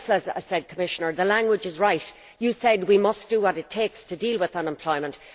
As I said, Commissioner the language is right you said we must do what it takes to deal with unemployment.